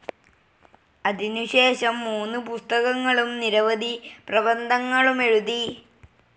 അതിനു ശേഷം, മൂന്ന് പുസ്തകങ്ങളും, നിരവധി പ്രബന്ധങ്ങളുമെഴുതി.